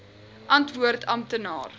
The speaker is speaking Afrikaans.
antwoord amptenaar